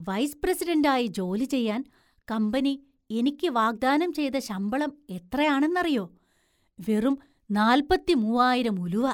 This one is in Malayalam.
വൈസ് പ്രസിഡൻ്റ് ആയി ജോലി ചെയ്യാൻ കമ്പനി എനിക്ക് വാഗ്ദാനം ചെയ്ത ശമ്പളം എത്രയാണെന്നറിയോ? വെറും നാല്പത്തിമൂവായിരം ഉലുവ!